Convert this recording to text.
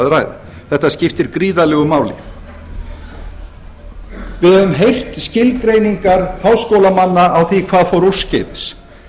ræða þetta skiptir gríðarlegu máli við höfum heyrt skilgreiningar háskólamanna á því hvað fór úrskeiðis